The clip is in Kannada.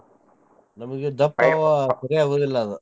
ಸರಿ ಆಗುದಿಲ್ಲ ಅವ್.